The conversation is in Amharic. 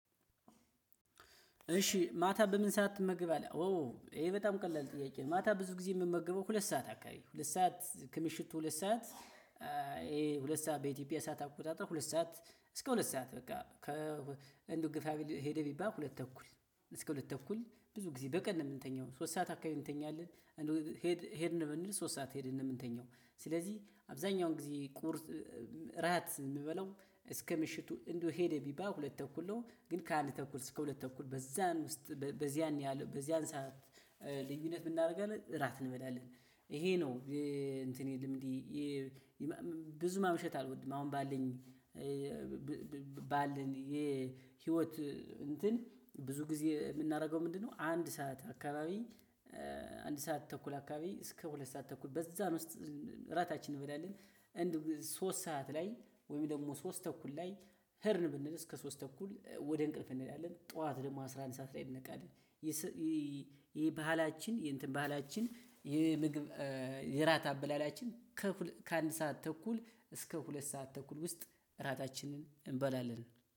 እሺ ማታ በምን ሰዓት ትመገባለህ? ይሄ በጣም ቀላል ጥያቄ ነው። ማታ ብዙ ጊዜ የምመገበው ሁለት ሰዓት አካባቢ ሁለት ሰዓት ከምሽቱ ሁለት ሰዓት። ይሄ ሁለት ሰዓት በኢትዮጵያ ሰዓት አቆጣጠር ሁለት ሰዓት እስከ ሁለት ሰዓት በቃ ከ እንደው ግፋ ቢል ሄደ ቢባል ሁለት ተኩል። እስከ ሁለት ተኩል ብዙ ጊዜ በቀን ነው የምንተኛው ሶስት ሰዓት አካባቢ እንተኛለን። እንደው ሄደ ሄድን ብንል ሶስት ሰዓት ሄደን ነው። ምንተኛው ስለዚህ አብዛኛው ጊዜ ቁርስ ራት ምበላው። እስከ ምሽቱ እንደው ሄደ ቢባል ሁለት ተኩል ነው። ግን ከአንድ ተኩል እስከ ሁለት ተኩል በዝያን ውስጥ በዝያን ሰዓት ልዩነት ምንእናደርጋለን? እራት እንበላለን ይሄ ነው እንትን የልምዴ። ብዙ ማምሸት አልወድም። አሁን ባልኝ ባልኝ የህይወት እንትን ብዙ ጊዜ የምናደርገው ምንድነው? አንድ ሰዓት አካባቢ አንድ ሰዓት ተኩል አካባቢ እስከ ሁለት ሰዓት ተኩል በዛም ውስጥ እራታችንን እንበላለን። እንደው ሶስት ሰዓት ላይ ወይም ደግሞ ሶስት ተኩል ላይ ሄድን ብንል እስከ ሶስት ተኩል ወደ እንቅልፍ እንሄዳለን። ጠዋት ደግሞ አስራ አንድ ሰዓት ላይ እንነቃለን። ይሄ ባህላችን የእንትን ባህላችን ይሄ ምግብ የራት አበላላችን። ከአንድ ሰዓት ተኩል እስከ ሁለት ሰዓት ተኩል ውስጥ ራታችንን እንበላለን።